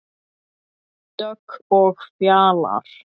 Dögg og Fjalar.